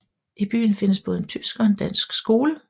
I byen findes både en tysk og en dansk skole